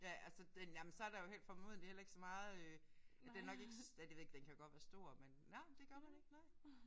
Ja altså den jamen så er der formodentlig heller ikke så meget øh den er nok ikke ja det ved jeg ikke den kan jo godt være stor men nej det gør man ikke nej